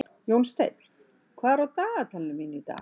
Jónsteinn, hvað er á dagatalinu mínu í dag?